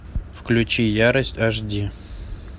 включи ярость аш ди